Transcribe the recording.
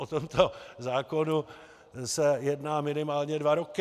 O tomto zákonu se jedná minimálně dva roky.